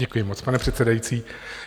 Děkuji moc, pane předsedající.